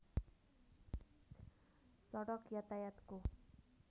सडक यातायातको